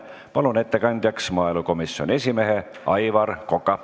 Palun ettekandjaks maaelukomisjoni esimehe Aivar Koka.